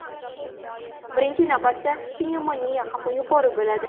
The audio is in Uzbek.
Birinchi navbatda, pnevmoniya xavfi yuqori bo‘ladi.